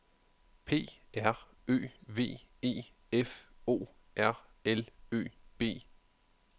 P R Ø V E F O R L Ø B